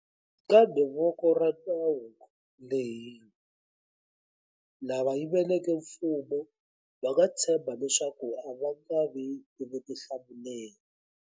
Kambe voko ra nawu ri lehile. Lava yiveleke mfumo va nga tshemba leswaku a va nga vi ni vutihlamuleri.